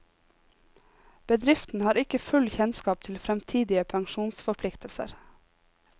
Bedriften har ikke full kjennskap til fremtidige pensjonsforpliktelser.